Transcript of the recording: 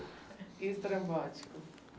Estrambótico.